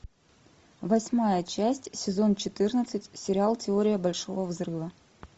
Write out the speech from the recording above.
восьмая часть сезон четырнадцать сериал теория большого взрыва